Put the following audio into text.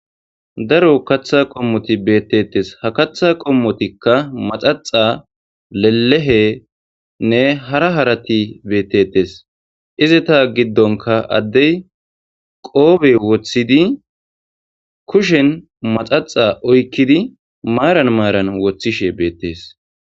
daro katha qommoti beettettes ha katha qommotikka maxaxa lelehenne hara harati beettetes izita giddonka addey qoobe woththidi kushen maxaxa oykkidi maaran maaran woththishe beettees